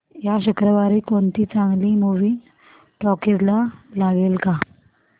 या शुक्रवारी कोणती चांगली मूवी टॉकीझ ला लागेल का